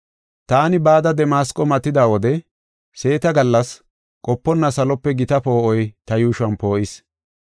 “Taani bada Damasqo matida wode seeta gallas qoponna salope gita poo7oy ta yuushuwan poo7is.